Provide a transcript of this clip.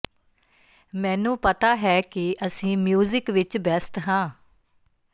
ਮੈਨੂੰ ਪਤਾ ਹੈ ਕਿ ਅਸੀਂ ਮਿਊਜ਼ਿਕ ਵਿਚ ਬੈੱਸਟ ਹਾਂ